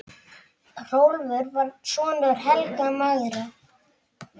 Hrólfur var sonur Helga magra.